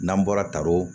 N'an bɔra kao